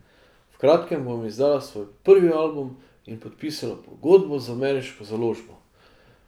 V kratkem bom izdala svoj prvi album in podpisala pogodbo z ameriško založbo.